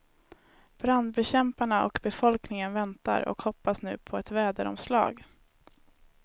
Brandbekämparna och befolkningen väntar och hoppas nu på ett väderomslag.